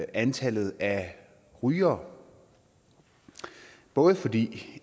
antallet af rygere både fordi